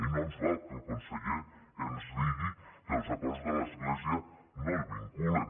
i no ens val que el conseller ens digui que els acords de l’església no el vinculen